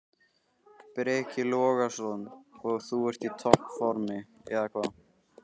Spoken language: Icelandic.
Breki Logason: Og þú ert í topp formi, eða hvað?